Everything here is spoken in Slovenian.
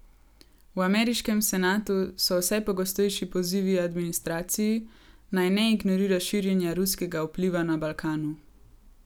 V ameriškem senatu so vse pogostejši pozivi administraciji, naj ne ignorira širjenja ruskega vpliva na Balkanu.